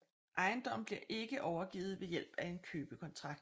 Ejendommen bliver ikke overgivet ved hjælp af en købekontrakt